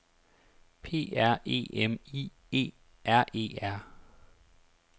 P R E M I E R E R